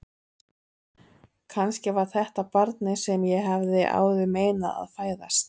Kannski var þetta barnið sem ég hafði áður meinað að fæðast.